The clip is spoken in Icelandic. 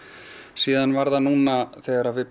síðan var það núna þegar við